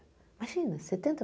Imagina, setenta?